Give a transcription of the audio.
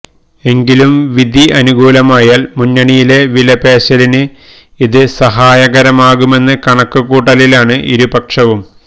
എങ്കിലും വിധി അനുകൂലമായാൽ മുന്നണിയിലെ വിലപേശലിന് ഇത് സഹായകരമാകുമെന്ന കണക്കുകൂട്ടലിലാണ് ഇരുപക്ഷവും